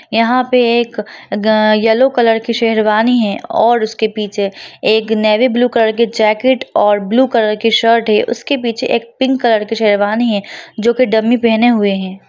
यहाँ पे एक येलो कलर की शेरवानी हैं और उसके पीछे एक नेवी ब्लू कलर की जैकेट और ब्लू कलर की शर्ट है उसके पीछे एक पिंक कलर की शेरवानी है जो की डमी पेहने हुई हैं।